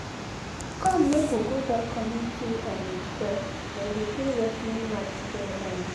come make we go that community um square, them dey play wrestling match there um